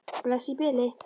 Bless í bili.